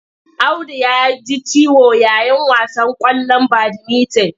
Audu ya ji ciwo yayin wasan ƙwallon badimitin.